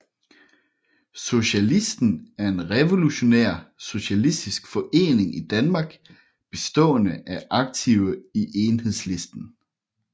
Socialisten er en revolutionær socialistisk forening i Danmark bestående af aktive i Enhedslisten